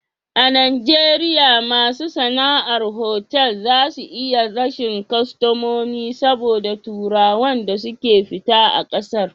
A najeriya masu sana'ar otal za su iya rashin kostamomi saboda turawan da suke fita a ƙasar